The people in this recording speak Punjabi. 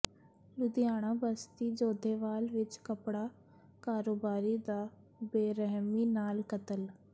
ਲੁਧਿਆਣਾ ਬਸਤੀ ਜੋਧੇਵਾਲ ਵਿਚ ਕੱਪੜਾ ਕਾਰੋਬਾਰੀ ਦਾ ਬੇਰਹਿਮੀਂ ਨਾਲ ਕਤਲ